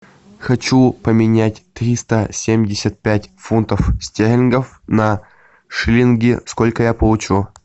хочу поменять триста семьдесят пять фунтов стерлингов на шиллинги сколько я получу